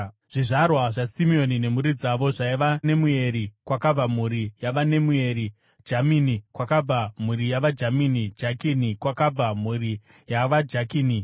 Zvizvarwa zvaSimeoni nemhuri dzavo zvaiva: Nemueri kwakabva mhuri yavaNemueri; Jamini, kwakabva mhuri yavaJamini; Jakini, kwakabva mhuri yavaJakini;